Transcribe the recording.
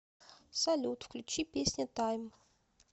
салют включи песня тайм